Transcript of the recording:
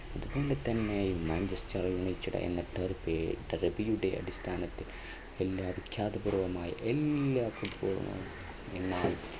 അതുപോലെതന്നെ Manchester United എന്ന അടിസ്ഥാനത്തിൽ എല്ലാ വിഖ്യാത പൂർവമായ എല്ലാ football